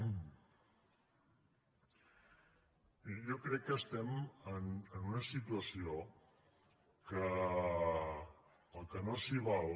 miri jo crec que estem en una situació en què el que no s’hi val